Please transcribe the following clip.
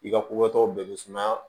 I ka kokɛtɔ bɛɛ bɛ sumaya